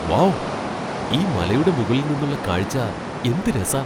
Wow ! ഈ മലയുടെ മുകളിൽ നിന്നുള്ള കാഴ്ച എന്ത് രസാ!